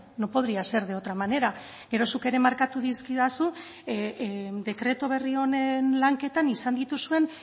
no podría ser de otra manera gero zuk ere markatu dizkidazu dekretu berri honen lanketan izan dituzuen